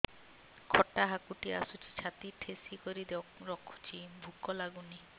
ଖଟା ହାକୁଟି ଆସୁଛି ଛାତି ଠେସିକରି ରଖୁଛି ଭୁକ ଲାଗୁନି